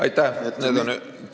Aitäh!